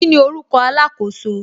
Kíni orúkọ alakoso